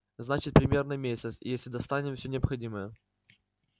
значит примерно месяц если достанем всё необходимое